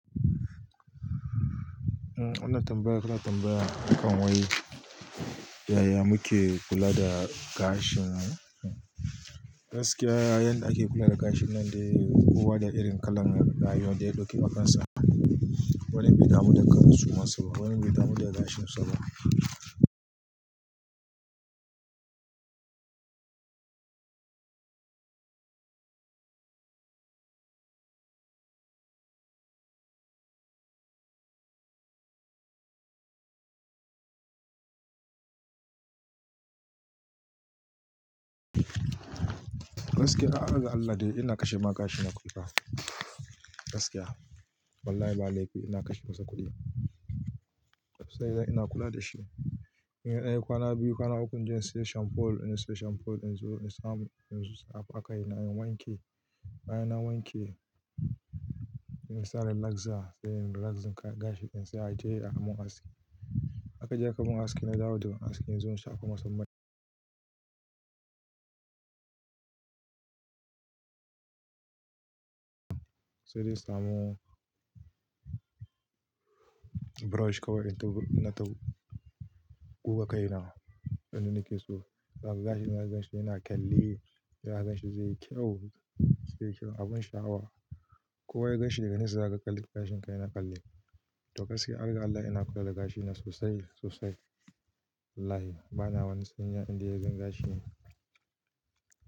Umm, wannan tambayar kana tambaya akan wai, yaya muke kula da gashin mu? Gaskiya, yanda ake kula da gashin nan dai, kowa da irin kalan rayuwa da ya ɗauki ma kansa. Wani bai damu da kansu masu ba, wani bai damu da gashin sa ba. Gaskiya, arga Allah dai ina kashe ma gashina kudi ma. Gaskiya. Wallahi ba laifi ina kashe masa kuɗi. Sai dai ina kula da shi. In ya nayi kwana biyu kwana uku, in je in siyo shamfol, ina siyo shamfol in zo in sa, in zo in sa a bakai na, in wanke. Bayan na wanke, ina sa relaxer sai in relaxing kai gashi in sa a je a mun aski. A ka je a ka mun aski na dawo da aski in zo in shafu masun mai. Sai dai in samu brush kawai in tau-- ina tau guga kai na. Don in nikeso. Zaa gashi na zai zance yana kalle, ya zance zai yi kyau, zai yi kyau abun sha'awa. Kowa ya ganshi daga nisa za ka kalli gashin ka yana kalle. To gaskiya, arga Allah ina kula da gashi na sosai, sosai. Wallahi. Bana wani saniya inda ya zama gashi ne.